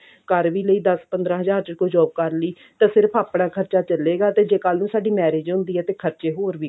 ਕਰ ਵੀ ਲਈ ਦਸ ਪੰਦਰਾਂ ਚ ਕੋਈ job ਕਰ ਲਈ ਤਾਂ ਸਿਰਫ ਆਪਣਾ ਖਰਚਾ ਚੱਲੇਗਾ ਤੇ ਜੇ ਕੱਲ ਨੂੰ ਸਾਡੀ marriage ਹੁੰਦੀ ਆ ਤੇ ਖਰਚੇ ਹੋਰ ਵੀ